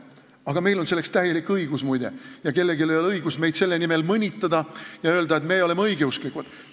Aga meil on selleks täielik õigus ja kellelgi ei ole õigust meid sellepärast mõnitada ja öelda, et meie oleme õigeusklikud.